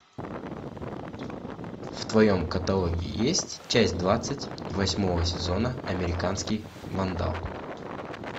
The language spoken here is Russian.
в твоем каталоге есть часть двадцать восьмого сезона американский вандал